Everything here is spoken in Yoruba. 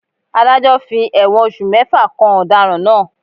Ádájọ́ fi ẹ̀wọ̀n oṣù mẹ́fà kan ọ̀daràn náà.